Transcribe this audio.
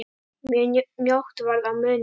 Mjög mjótt varð á munum.